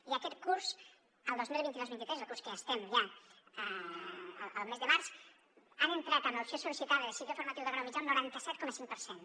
i aquest curs el dos mil vint dos dos mil vint tres del curs que estem ja al mes de març han entrat amb l’opció sol·licitada de cicle formatiu de grau mitjà un noranta set coma cinc per cent